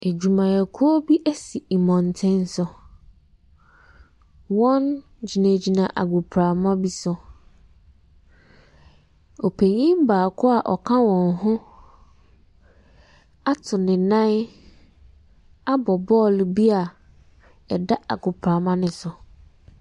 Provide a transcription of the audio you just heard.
Adwumayɛkuo bi asi mmɔntene so. Wɔgyinagyina agoprama bi so. Ɔpanin baako a ɔka wɔn ho ato ne nan abɔ bɔɔlo bi a ɛda agoprama no so.